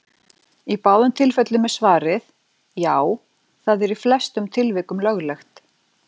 Í báðum tilvikum er svarið: Já, það er í flestum tilvikum löglegt.